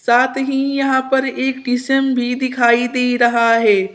साथ ही यहां पर एक डी_सी_एम भी दिखाई दे रहा है।